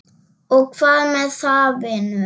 Og hvað með það, vinur?